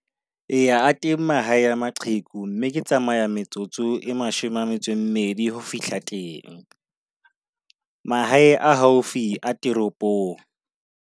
Eya a teng mahae maqheku, mme ke tsamaya metsotso e mashome a metso e mmedi ho fihla teng. Mahae a haufi a toropong.